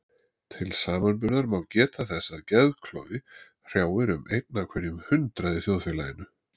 Til samanburðar má geta þess að geðklofi hrjáir um einn af hverjum hundrað í þjóðfélaginu.